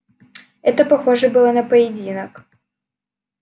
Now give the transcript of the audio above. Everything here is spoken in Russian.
это похоже было на поединок